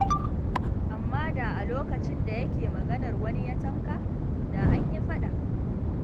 Amma da a lokacin da yake maganar wani ya tanka, da an yi faɗa.